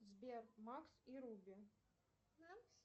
сбер макс и руби